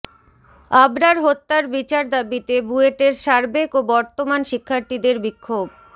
আবরার হত্যার বিচার দাবিতে বুয়েটের সাবেক ও বর্তমান শিক্ষার্থীদের বিক্ষোভ